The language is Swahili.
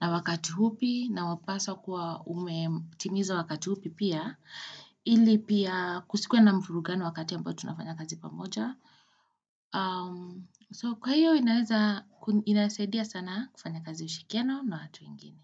na wakati hupi na wapasa kuwa umetimiza wakati hupi pia, ili pia kusikwe na mfuvugano wakati ambayo tunafanya kazi pamoja. So kwa hiyo inasaidia sana kufanya kazi ushilikiano na watu wengini.